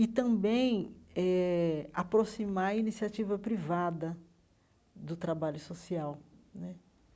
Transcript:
e também eh aproximar a iniciativa privada do trabalho social né.